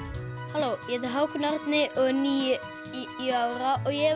halló ég heiti Hákon Árni og er níu ára og ég